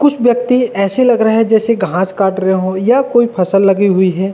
कुछ व्यक्ति ऐसे रहे हैं जैसे घास काट रहे हो या कोई फसल लगी हुई है। .